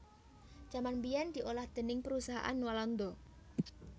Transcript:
Jaman biyèn diolah déning Perusahaan Walanda